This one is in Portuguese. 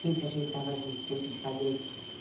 Sempre a gente estava junto, sempre se fazendo.